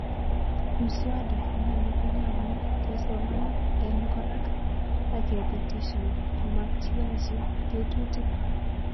Mswada inano konyalunon kesoman en kora ak ngepitishan komakyiyachi ketutik